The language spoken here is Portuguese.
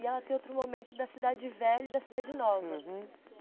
E ela tem outro momento da Cidade Velha e da Cidade Nova, aham.